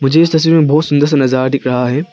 इस तस्वीर में बहुत सुंदर सा नजारा दिख रहा है।